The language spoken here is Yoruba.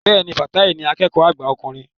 Bẹ́ẹ̀ni, Fatai ni akẹ́kọ̀ọ́ àgbà ọkùnrin